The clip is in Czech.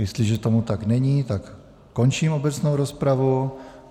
Jestliže tomu tak není, tak končím obecnou rozpravu.